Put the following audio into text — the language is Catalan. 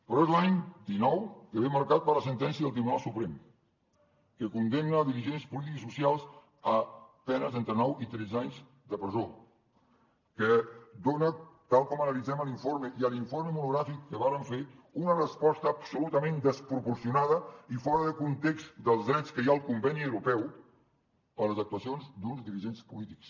però és l’any dinou que ve marcat per la sentència del tribunal suprem que condemna dirigents polítics i socials a penes d’entre nou i tretze anys de presó que dona tal com analitzem a l’informe i a l’informe monogràfic que vàrem fer una resposta absolutament desproporcionada i fora de context dels drets que hi ha al conveni europeu per les actuacions d’uns dirigents polítics